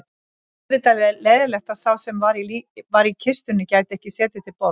Auðvitað leiðinlegt að sá sem var í kistunni gæti ekki setið til borðs